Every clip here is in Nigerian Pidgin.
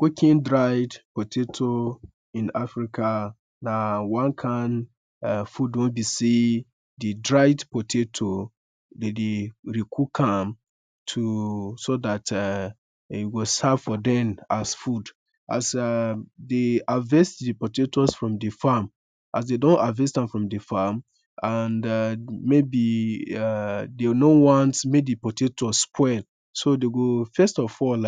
Cooking dried potatoes in Africa na one kind err food weh be say de dried potato de de cook am to so dat ehh de go serve for dem as food As erm de harvest de potato from de farm as de don harvest am from de farm and ermm, maybe, de no want mek de potato spoil, so de go first of all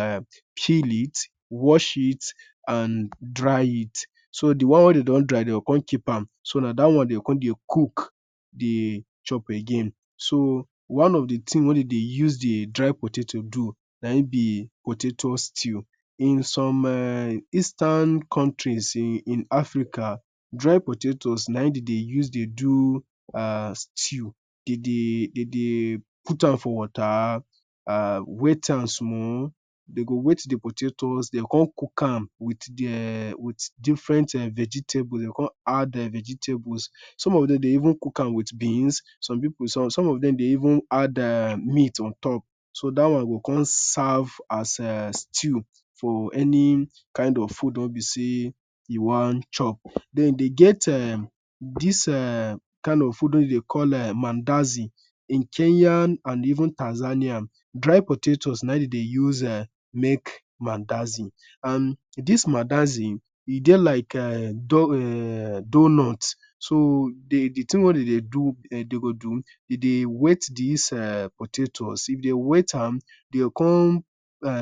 peel it, wash it, and dry it. So d wan weh de don dry de come keep am. So na dat wan de come de cook de chop again. So, one of de tin we de de use de dry potato de do na en be potato stew. In some ermm eastern countries in Africa, dry potato na en de de use de do erm stew. De de put am for water, wet am small, de go wet de potato de go come cook am with ermm with different erm vegetables de come add vegetables. Some of dem de even cook am with beans, some pipo, some of dem go even add ermm meat on top. Dat wan go come serve as stew for any kind of food weh be say u wan chop. Then dem get ermm dis erm kind of food weh dem call mandazi in Kenyan and even Tanzanian. Dry potatoes na en de use de make mandazi. And dis mandazi e de like doughnut So the tin weh de go do, de go wet dis potatos. If de wet am, de go come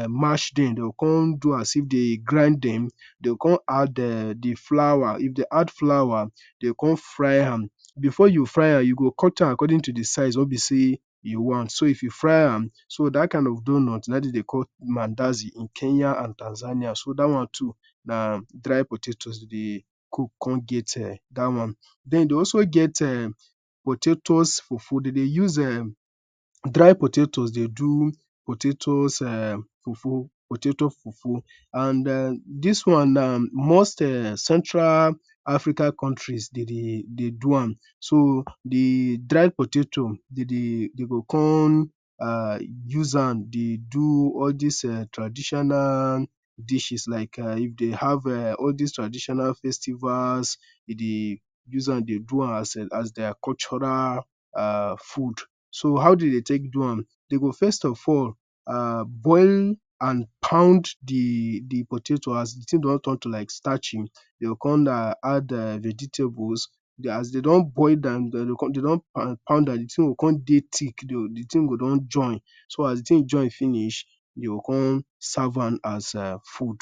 marsh dem, come do as if dem grind dem de come add the flour, if de add d flour, de go corn fry am. Before you fry am, u go cut am according to de size weh be say you want. So dat kind of doughnut na en de de call mandazi in Kenya and Tanzania. So dat wan too, na dry potatoes de de cook come get ermm dat wan. Dem de come get ermm, potato fufu. De de use dry potato de do potato fufu potato fufu and dis wan, most Central African countries de de do am, so de dried potato, de de… de go come use am de do dis ermm traditional dishes like if de have ermm all dis traditional festivals, de de use am de do as dia cultural food. So how de go tek do am? De go first of all boil and pound de potato as d tin don turn to like starchy, de go come add vegetables. As de don boil am as de don pound am, de tin go come de thick, e go come join. So as de tin go come join finish, u go come serve am as food